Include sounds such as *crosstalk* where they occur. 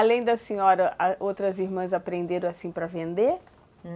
Além da senhora, *unintelligible* outras irmãs aprenderam assim para vender?